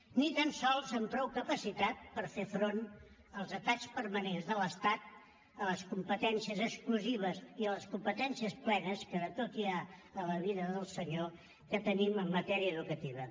ni tan sols amb prou capacitat per fer front als atacs permanents de l’estat a les competències exclusives i a les competències plenes que de tot hi ha a la vinya del senyor que tenim en matèria educativa